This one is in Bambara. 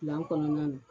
Gilan kɔnɔna na